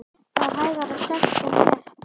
Það er hægara sagt en gert.